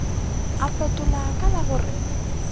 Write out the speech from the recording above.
a fetola ka la gore